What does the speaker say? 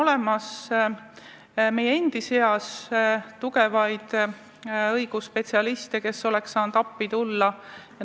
Aga meie seas on tugevaid õigusspetsialiste, kes oleks saanud appi tulla.